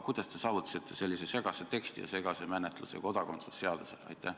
Kuidas te saavutasite sellise segase teksti ja segase menetluse kodakondsuse seadusega?